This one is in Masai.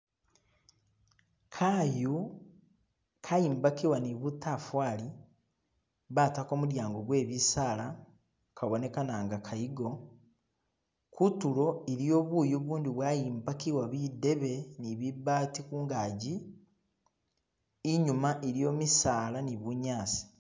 Kayu kayimbakibwa ni butafali batako mudyango gwe bisaala kabonekanaga kayigo kutulo iliyo buyu bundi bwayimbakibwa bidebe ni bibaati kungaji inyuma iliyo misala ni bunyasi